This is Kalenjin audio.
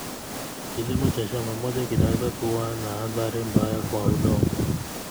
Kilimo cha shamba moja kinaweza kuwa na athari mbaya kwa udongo.